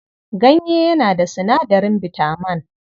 Ganye yana da sinadarin bitaman.